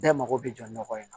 Bɛɛ mago bɛ jɔ nɔgɔ in na